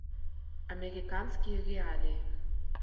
американские реалии